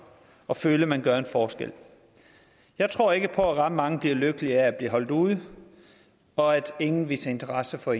og føle at man gør en forskel jeg tror ikke på at ret mange bliver lykkelige af at blive holdt ude og at ingen viser interesse for